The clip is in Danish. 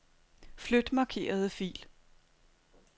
Flyt markerede fil.